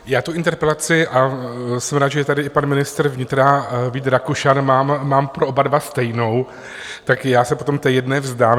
Já tu interpelaci, a jsem rád, že je tady i pan ministr vnitra Vít Rakušan, mám pro oba dva stejnou, tak já se potom té jedné vzdám.